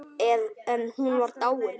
En hún var dáin.